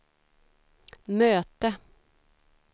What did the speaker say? möte